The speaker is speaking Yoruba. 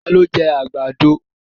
Ta ló jẹ́ àgbàdo?